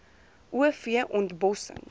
o v ontbossing